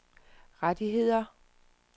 rettigheder